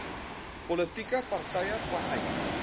politieke partye vanuit